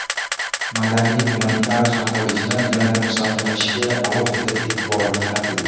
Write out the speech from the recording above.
Madaniy-gumanitar hamkorlikni yanada mustahkamlashga alohida e’tibor qaratildi.